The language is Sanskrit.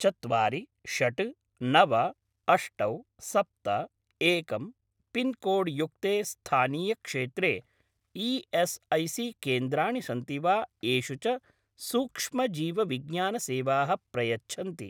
चत्वारि षट् नव अष्ट सप्त एकं पिन्कोड् युक्ते स्थानीयक्षेत्रे ई.एस्.ऐ.सी.केन्द्राणि सन्ति वा येषु च सूक्ष्मजीवविज्ञान सेवाः प्रयच्छन्ति?